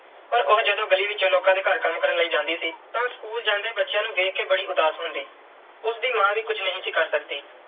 ਪਰ ਉਹ ਜਦੋਂ ਗਲੀ ਵਿੱਚੋਂ ਲੋਕਾਂ ਦੇ ਘਰ ਕੰਮ ਕਰਨ ਲਈ ਜਾਂਦੀ ਸੀ, ਤਾਂ school ਜਾਂਦੇ ਬੱਚਿਆਂ ਨੂੰ ਦੇਖ ਕੇ ਬੜੀ ਉਦਾਸ ਹੁੰਦੀ। ਉਸ ਦੀ ਮਾਂ ਵੀ ਕੁਝ ਨਹੀਂ ਸੀ ਕਰ ਸਕਦੀ